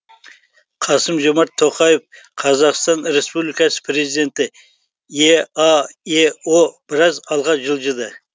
қасым жомарт тоқаев қазақстан республикасы президенті еаэо біраз алға жылжыды